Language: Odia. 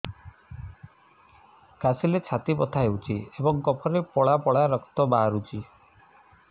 କାଶିଲେ ଛାତି ବଥା ହେଉଛି ଏବଂ କଫରେ ପଳା ପଳା ରକ୍ତ ବାହାରୁଚି